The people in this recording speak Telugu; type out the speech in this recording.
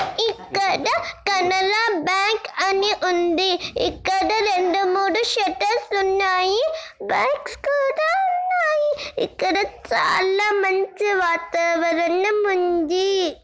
ఇక్కడ కనరా బ్యాంకు అని ఉంది. ఇక్కడ రెండు మూడు శేటర్స్ ఉన్నాయి. బాగ్స్ కూడా ఉన్నాయి .ఇక్కడ చాలా మంచి వాతావరణం ఉంది.